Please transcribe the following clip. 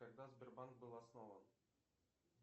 когда сбербанк был основан